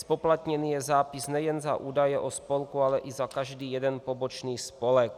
Zpoplatněn je zápis nejen za údaje o spolku, ale i za každý jeden pobočný spolek.